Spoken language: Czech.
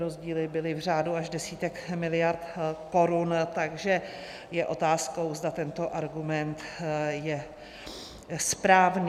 Rozdíly byly v řádu až desítek miliard korun, takže je otázkou, zda tento argument je správný.